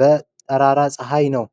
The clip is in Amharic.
በጠራራ ፀሐይ ነው።